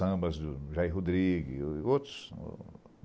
Sambas do Jair Rodrigues e outros.